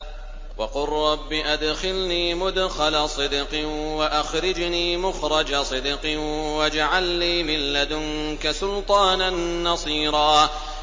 وَقُل رَّبِّ أَدْخِلْنِي مُدْخَلَ صِدْقٍ وَأَخْرِجْنِي مُخْرَجَ صِدْقٍ وَاجْعَل لِّي مِن لَّدُنكَ سُلْطَانًا نَّصِيرًا